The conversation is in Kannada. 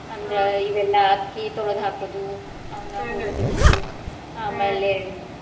ಅಂದ್ರ ಇವೆಲ್ಲ ಅಕ್ಕಿ ತೋಳ್ದ ಹಾಕುದು ಅವ್ನಹುರ್ದ ಇಡುದು ಆಮೇಲೆ .